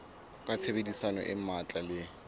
ka tshebedisano e matla le